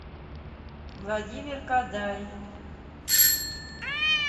владимир кадай